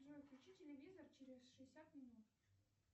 джой включи телевизор через шестьдесят минут